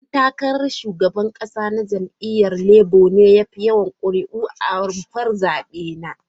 Dan takarar shugaban kasa na jam'iyyar Labour ne ya fi yawan kuri'u a rumfar zabe ta.